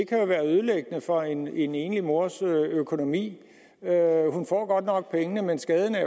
kan være ødelæggende for en en enlig mors økonomi hun får godt nok pengene men skaden er